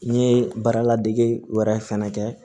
N ye baaradege wɛrɛ fɛnɛ kɛ